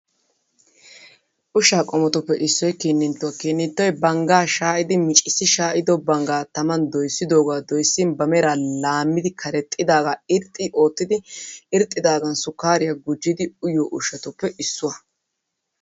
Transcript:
Ushshaa qommotuppe issoy kinninttuwa. Kinninttoy banggaa shaayidi micissi shaayido banggaa taman doyissidoogaa doyissin ba meraa laammi Karexxidaagaa irxxi oottidi irxxidaagan sukkaariya gujjidi uyiyo ushshatuppe issuwa.